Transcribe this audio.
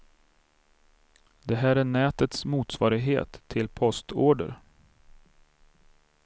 Det här är nätets motsvarighet till postorder.